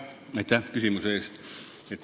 Aitäh küsimuse eest!